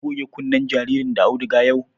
Kin goge kunnen jaririn da auduga yau?